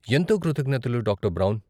ఎంతో కృతజ్ఞతలు, doctor brown.